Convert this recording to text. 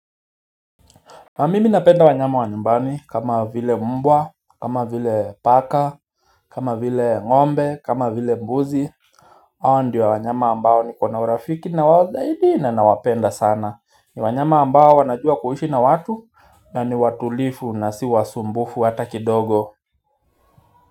Na mimi napenda wanyama wa nyumbani kama vile mbwa, kama vile paka, kama vile ngombe, kama vile mbuzi Hawa ndio wanyama ambao ni kona urafiki nawao zaidi na wapenda sana. Ni wanyama ambao wanajua kuhishi na watu, ya ni watulifu na siwasumbufu hata kidogo.